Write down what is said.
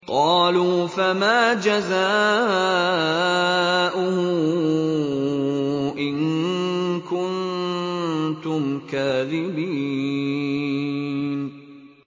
قَالُوا فَمَا جَزَاؤُهُ إِن كُنتُمْ كَاذِبِينَ